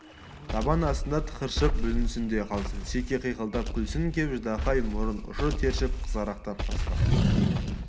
табан астында тықыршып бүлінсін де қалсын шеге қиқылдап күлсін кеп ждақай мұрын ұшы тершіп қызарақтап қасқа